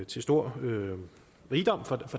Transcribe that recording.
til stor rigdom for